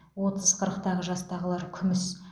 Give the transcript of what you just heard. отыз қырықтағы жастағылар күміс